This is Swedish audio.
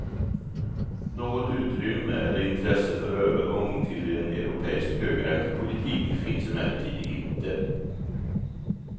Något utrymme eller intresse för övergång till en europeisk högräntepolitik finns emellertid inte.